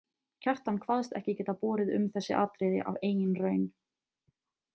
Kjartan kvaðst ekki geta borið um þessi atriði af eigin raun.